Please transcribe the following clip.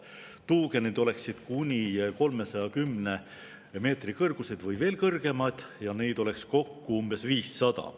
Tuugenid oleksid kuni 310 meetri kõrgused või veel kõrgemad ja neid oleks kokku umbes 500.